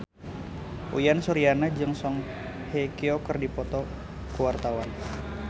Uyan Suryana jeung Song Hye Kyo keur dipoto ku wartawan